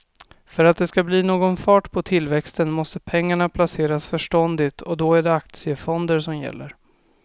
För att det ska bli någon fart på tillväxten måste pengarna placeras förståndigt och då är det aktiefonder som gäller.